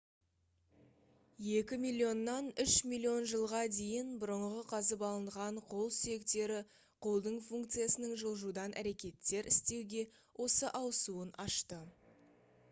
екі миллионнан үш миллион жылға дейін бұрынғы қазып алынған қол сүйектері қолдың функциясының жылжудан әрекеттер істеуге осы ауысуын ашты